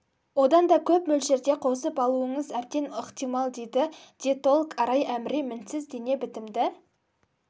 одан да көп мөлшерде қосып алуыңыз әбден ықтимал дейді диетолог арай әміре мінсіз дене бітімді